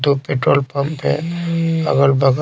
Two petrol pump हैअगल बगल ।